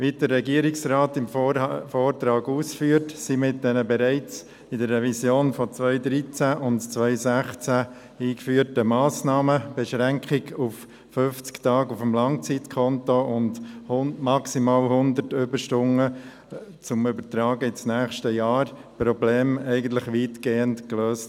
Wie der Regierungsrat im Vortrag ausführt, wurden mit den bereits in der Revision von 2013 und 2016 eingeführten Massnahmen – die Beschränkung auf 50 Tage auf dem Langzeitkonto und maximal 100 Überstunden zur Übertragung ins nächste Jahr – die Probleme weitgehend gelöst.